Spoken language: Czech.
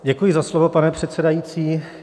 Děkuji za slovo, pane předsedající.